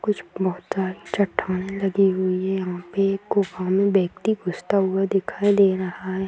कुछ मुँह तर चट्टान लगी हुई है यहाँ पे एक गुफा में व्यक्ति घुसता हुआ दिखाई दे रहा है।